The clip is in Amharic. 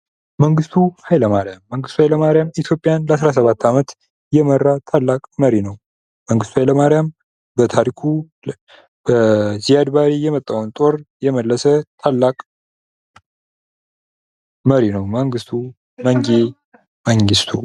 መንግስቱ ሀይለ ማርያም፦ መንግስቱ ሀይለ ማርያም ኢትዮጵያ ለ17 አመት የመራ ትላቅ መሪ ነው። መንግስቱ ሀይለ ማርያም በታሪኩ በዚያድባሬ የመጣዉን ጦር የመለሰ ታላቅ መሪ ነው።